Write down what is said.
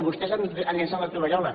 vostès han llençat la tovallola